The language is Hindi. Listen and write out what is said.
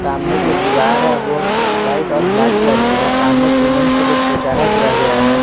सामने जो दीवार है ओ वाइट और ब्लैक कलर की है सामने सीमेंट से कुछ पुचारा किया गया है।